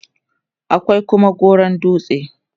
akwai Kuma gauron dutse